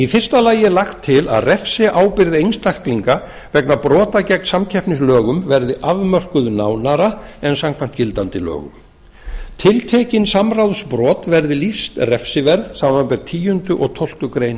fyrsta lagt er til að refsiábyrgð einstaklinga vegna brota gegn samkeppnislögum verði afmörkuð nánar en samkvæmt gildandi lögum tiltekin samráðsbrot verði lýst refsiverð samanber tíundu og tólftu greinar